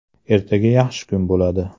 Ertaga yaxshi kun bo‘ladi”.